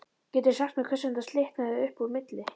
Geturðu sagt mér hvers vegna slitnaði upp úr milli